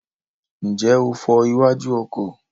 Ǹjẹ́ o fọ iwájú ọkọ̀?